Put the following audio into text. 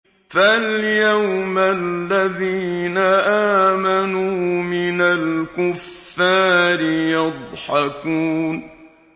فَالْيَوْمَ الَّذِينَ آمَنُوا مِنَ الْكُفَّارِ يَضْحَكُونَ